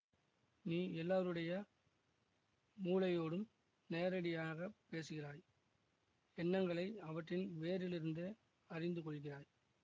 நீ எல்லாருடைய மூளையோடும் நேரடியாக பேசுகிறாய் எண்ணங்களை அவற்றின் வேரிலிருந்தே அறிந்து கொள்ளுகிறாய்